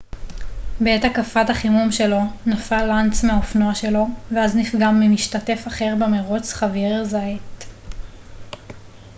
בעת הקפת החימום שלו נפל לנץ מהאופנוע שלו ואז נפגע ממשתתף אחר במרוץ חאבייר זאייט